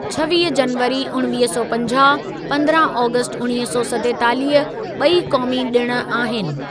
छवीह जनवरी उणिवीह सौ पंजाह, पंद्रहं ऑगस्ट उणिवीह सौ सतेतालीह ॿई क़ौमी ॾिण आहिनि।